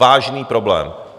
Vážný problém!